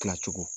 Kilacogo